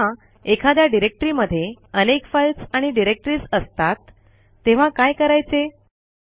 पण जेव्हा एखाद्या डिरेक्टरी मध्ये अनेक फाईल्स आणि डिरेक्टरीज असतात तेव्हा काय करायचे